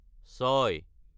ছয়